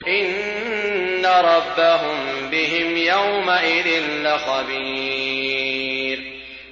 إِنَّ رَبَّهُم بِهِمْ يَوْمَئِذٍ لَّخَبِيرٌ